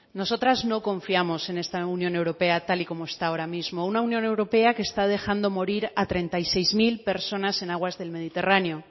nosotras no confiamos en esta unión europea tal y como está ahora mismo una unión europea que está dejando morir a treinta y seis mil personas en aguas del mediterráneo